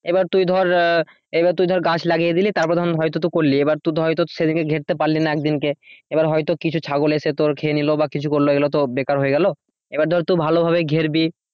এবার তুই ধর এবার তুই ধর গাছ লাগিয়ে দিলি তারপর ধর হয়তো তুই করলি। এবার তুই ধর সেদিকে ঘেরতে পারলি না একদিন কে এবার হয়তো কিছু ছাগল এসে তোর খেয়ে নিল বা কিছু করলো ওগুলো তো বেকার হয়ে গেল এবার ধর তুই ভালোভাবে ঘেরবি।